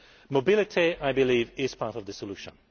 Mobility, I believe, is part of the solution.